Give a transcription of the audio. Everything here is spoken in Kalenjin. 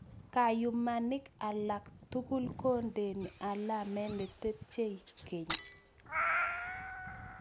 Kayumanik alak tugulkondeni alamet ne tepchei keny